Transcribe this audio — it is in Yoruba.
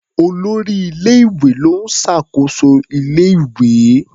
Olórí ilé-ìwé ló ń ṣàkóso ilé-ìwé.